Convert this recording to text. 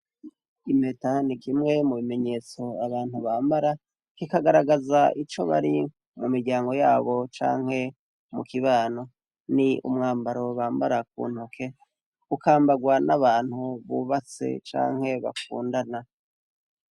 Impeta nakimwe mubimenyetso abantu Bambara. Kikagaragaza ico bari mumiryango yabo canke mukibano. Ni umwambaro Bambara kuntoke ukambarwa nabantu bubatse canke bakundana.